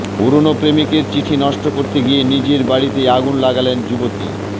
পুরনো প্রেমিকের চিঠি নষ্ট করতে গিয়ে নিজের বাড়িতেই আগুন লাগালেন যুবতী